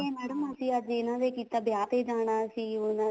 madam ਅਸੀਂ ਅੱਜ ਇਹਨਾ ਦੇ ਕੀਤਾ ਵਿਆਹ ਤੇ ਜਾਣਾ ਸੀ ਉਹਨਾ